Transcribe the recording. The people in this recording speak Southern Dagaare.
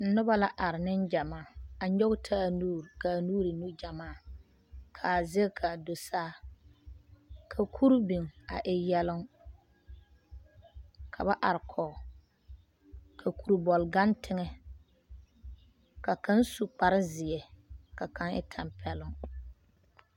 Noba la are neŋ gyamaa a nyɔge taa nuuri. ka nuuri meŋ e nugyamaa ka kuri biŋ a e yaloŋ ka ba are kɔge ka kuri bɛle gaŋ teŋɛ ka kaŋ su kpare zeɛ ka kaŋ e tampɛloŋ.